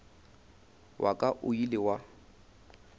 wa ka o ile wa